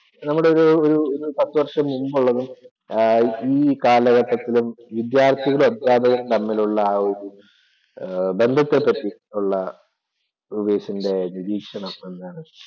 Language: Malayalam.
നമ്മുടെ ഒരു പത്ത് വർഷം മുമ്പുള്ളതും, ആഹ് ഈ കാലഘട്ടത്തിലും വിദ്യാർത്ഥികളും അധ്യാപകരും തമ്മിലുള്ള ആ ഒരു ബന്ധത്തെപ്പറ്റി ഉള്ള ഉവൈസിന്‍റെ ഒരു നിരീക്ഷണം എന്താണ്?